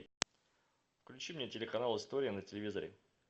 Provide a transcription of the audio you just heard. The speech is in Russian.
включи мне телеканал история на телевизоре